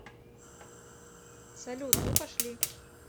салют ну пошли